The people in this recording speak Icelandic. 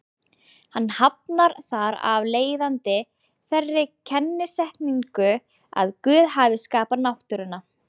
Hann hafnar þar af leiðandi þeirri kennisetningu að Guð hafi skapað náttúruna.